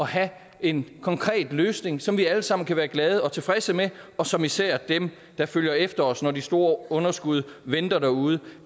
have en konkret løsning som vi alle sammen kan være glade for og tilfredse med og som især dem der følger efter os når de store underskud venter derude